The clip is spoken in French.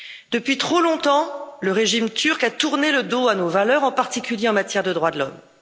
Depuis trop longtemps, le régime turc a tourné le dos à nos valeurs, en particulier en matière de droits de l'homme.